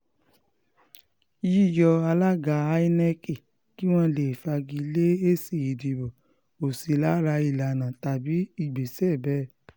yíyọ alága inec kí wọ́n lè fagi lé èsì ìdìbò kò sí lára ìlànà tàbí ìgbésẹ̀ bẹ́ẹ̀